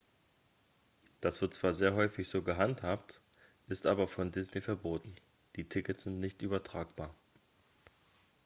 das wird zwar sehr häufig so gehandhabt ist aber von disney verboten die tickets sind nicht übertragbar